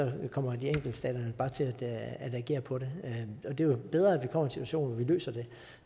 kommer de enkelte stater bare til at agere på det det er jo bedre at vi kommer situation hvor vi løser det